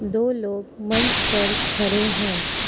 दो लोग मंच पर खड़े हैं।